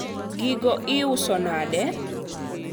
gigo iuso nade?